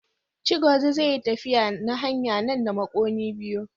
Chigozie zai yi tafiya na hanya nan da makonni biyu.